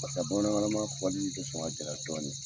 Pasek'a bamanankan lama fɔli bɛ sɔn ka gɛlya dɔɔnin